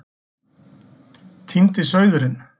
Týndi sauðurinn